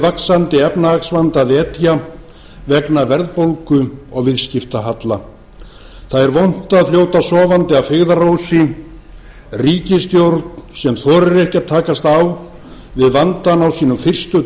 vaxandi efnahagsvanda að etja vegna verðbólgu og viðskiptahalla það er vont að fljóta sofandi að feigðarósi ríkisstjórn sem þorir ekki að takast á við vandann á sínum fyrstu